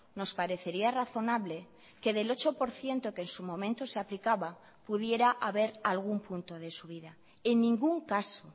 nos parecería razonable que del ocho por ciento que en su momento se aplicaba pudiera haber algún punto de subida en ningún caso